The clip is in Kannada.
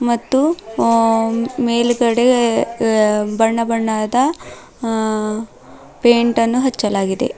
ಮತ್ತು ಅ ಮೇಲ್ಗಡೆ ಅ ಬಣ್ಣ ಬಣ್ಣದ ಅ ಪೇಂಟ್ ಅನ್ನು ಹಚ್ಚಲಾಗಿದೆ.